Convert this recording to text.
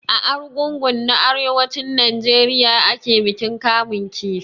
A Arugungu na arewacin Najeriya ake bikin kamun kifi.